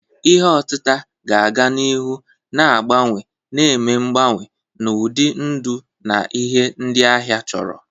Ihe otita ga-aga n'ihu na-agbanwe, na-eme mgbanwe n'ụdị ndụ na ihe ndị ahịa chọrọ.